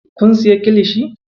Kun siya kilishi?